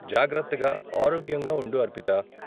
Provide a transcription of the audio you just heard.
జాగ్రత్తగా, ఆరోగ్యంగా ఉండు అర్పితా.